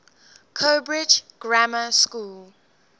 cowbridge grammar school